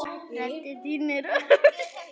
Rödd þín er hörð.